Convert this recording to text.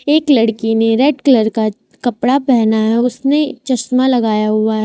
एक लड़की ने रेड कलर का कपड़ा पहना हुआ है उसने चश्मा लगाया हुआ है।